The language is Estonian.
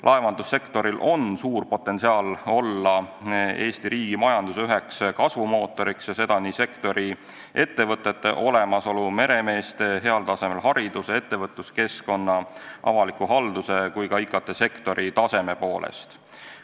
Laevandussektoril on suur potentsiaal olla Eesti riigi majanduse üheks kasvumootoriks ja seda nii sektori ettevõtete olemasolu, meremeeste heal tasemel hariduse, ettevõtluskeskkonna, avaliku halduse kui ka IKT-sektori taseme poolest.